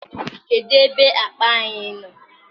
kedụ ebe akpa anyi no?